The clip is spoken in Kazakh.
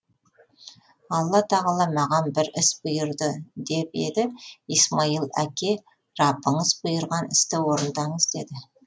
алла тағала маған бір іс бұйырды деп еді исмаил әке раббыңыз бұйырған істі орындаңыз деді